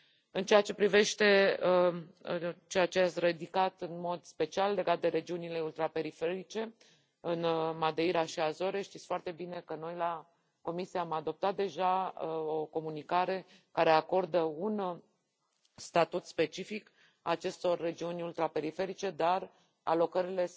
În ceea ce privește chestiunea, ridicată în mod special, legată de regiunile ultraperiferice, de Madeira și Azore, știți foarte bine că noi în cadrul Comisiei am adoptat deja o comunicare care acordă un statut specific acestor regiuni ultraperiferice, dar alocările